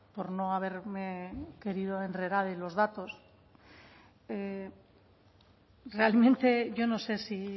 por no haberme querido enredar en los datos realmente yo no sé si